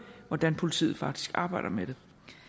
hvordan politiet faktisk arbejder med det